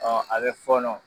a bɛ fɔɔnɔ.